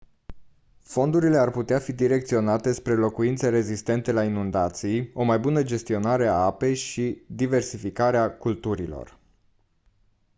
fondurile ar putea fi direcționate spre locuințe rezistente la inundații o mai bună gestionare a apei și diversificarea culturilor